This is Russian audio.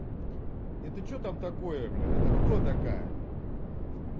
это что там такое бля это кто такая